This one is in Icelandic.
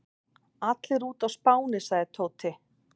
Allir úti á Spáni sagði Tóti.